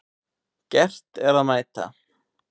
Gert að mæta